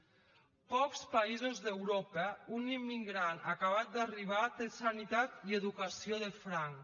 a pocs països d’europa un immigrant acabat d’arribar té sanitat i educació de franc